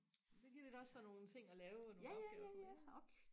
det giver dig også sådan nogle ting og lave nogle opgaver og sådan noget